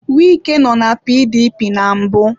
Wike nọ na PDP na mbụ.